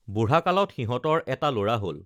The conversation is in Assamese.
বুঢ়া কালত সিহঁতৰ এটা লৰা হল